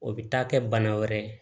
O bɛ taa kɛ bana wɛrɛ ye